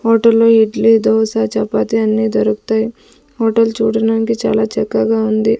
హోటల్లో ఇడ్లీ దోశ చపాతి అన్ని దొరుకుతాయ్ హోటల్ చూడడానికి చాలా చక్కగా ఉంది.